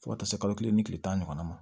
Fo ka taa se kalo kelen ni tile tan ɲɔgɔnna ma